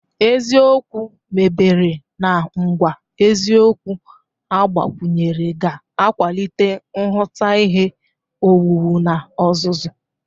Eziokwu mebere na ngwa eziokwu agbakwunyere ga-akwalite nhụta ihe owuwu na ọzụzụ.